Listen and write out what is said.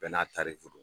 Bɛɛ n'a ta de don